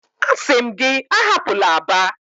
Asi m gi ahapula Aba!